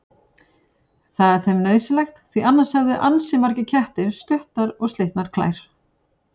Það er þeim nauðsynlegt því annars hefðu ansi margir kettir stuttar og slitnar klær.